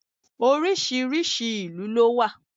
Oríṣiríṣi ìlú ló wà.